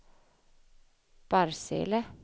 Barsele